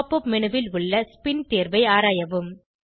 pop up menu ல் உள்ள spin தேர்வை ஆராயவும்